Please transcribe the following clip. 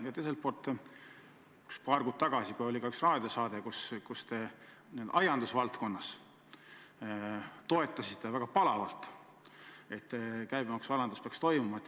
Ja paar kuud tagasi, kui oli üks raadiosaade, siis te aiandusvaldkonnast rääkides toetasite väga palavalt, et käibemaksualandus peaks toimuma.